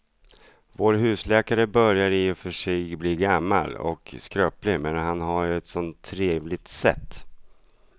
Vår husläkare börjar i och för sig bli gammal och skröplig, men han har ju ett sådant trevligt sätt!